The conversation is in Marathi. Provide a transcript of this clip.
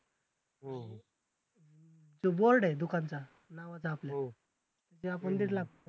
तो Board आहे दुकानाचा नावाचा आपल्या ते आपण